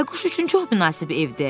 Bayquş üçün çox münasib evdir.